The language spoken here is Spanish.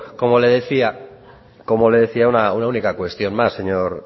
como le decía una única cuestión más